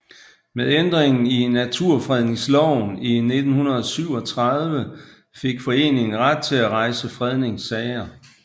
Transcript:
Med ændringen af Naturfredningsloven i 1937 fik foreningen ret til at rejse fredningssager